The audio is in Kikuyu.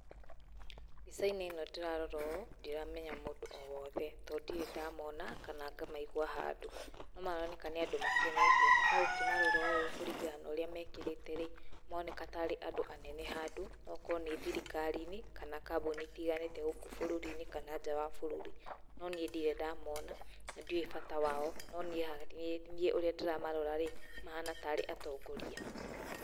Mbica-inĩ ĩno ndĩrarora ũũ ndiramenya mũndũ o wothe tondũ ndirĩ ndamona kana ngamaigua handũ, no maroneka nĩ andũ makenete. No ũkĩmarora ũ kũringana no ũrĩa mekĩrĩte-rĩ, maroneka ta arĩ andũ anene handũ noũkorwo nĩ thrikari-inĩ kana kambuni itiganĩte gũkũ bũrũri-inĩ kana nja wa bũrũri. No niĩ ndirĩ ndamona na ndiũĩ bata wao, no niĩ ũrĩa ndĩramarorarĩ mahana ta arĩ atongoria.